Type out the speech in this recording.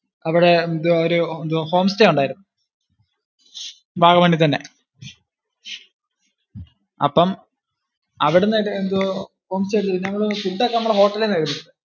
അവിടെ എന്തുവാ ഒരു home stay ഉണ്ടാരുന്നു. വാഗ്മണിൽ തന്നെ. അപ്പം അവിടുന്ന് എന്തോ ഒരു home stylefood ഒക്കെ നമ്മള് hotel ഇൽ നിന്ന് കഴിച്ചു.